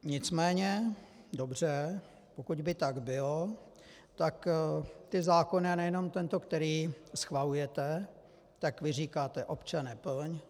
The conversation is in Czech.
Nicméně dobře, pokud by tak bylo, tak ty zákony, a nejenom tento, který schvalujete, tak vy říkáte: Občane, plň!